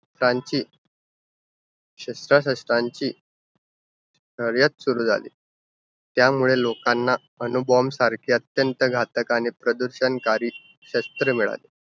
त्यांची शश्त्राशस्त्रांची शर्यत सुरु झाली. त्यामुळे लोकांना अणुबॉम्बसारख्या अत्यंत घातक आणि प्रदूषणकारी शस्त्र मिळाली.